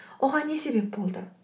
оған не себеп болды